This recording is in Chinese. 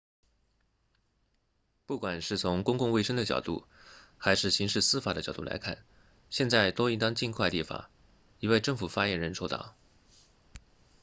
不管是从公共卫生的角度还是刑事司法的角度来看现在都应当尽快立法一位政府发言人说道